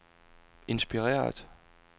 inspireret